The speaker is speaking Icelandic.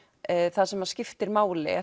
það sem skiptir máli